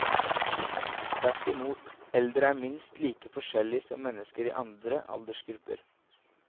Tvert imot, eldre er minst like forskjellige som mennesker i andre aldersgrupper.